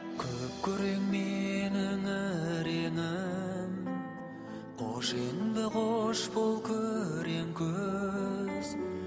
күп күрең менің іреңім қош енді қош бол күрең күз